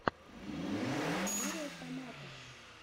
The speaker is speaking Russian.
лучшая серия томатос